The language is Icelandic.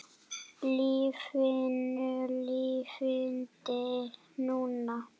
LÍFINU LIFANDI NÚNA!